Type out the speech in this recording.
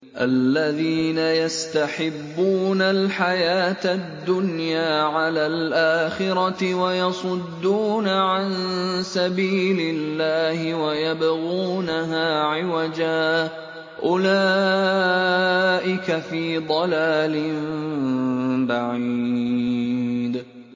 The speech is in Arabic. الَّذِينَ يَسْتَحِبُّونَ الْحَيَاةَ الدُّنْيَا عَلَى الْآخِرَةِ وَيَصُدُّونَ عَن سَبِيلِ اللَّهِ وَيَبْغُونَهَا عِوَجًا ۚ أُولَٰئِكَ فِي ضَلَالٍ بَعِيدٍ